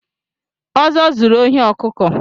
Ozo zụrụ ohi ọkụkụ